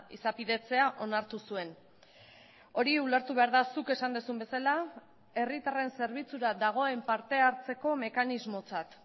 izapidetzea onartu zuen hori ulertu behar da zuk esan duzun bezala herritarren zerbitzura dagoen parte hartzeko mekanismotzat